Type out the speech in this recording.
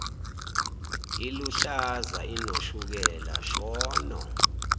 iluhlaza inoshukela shono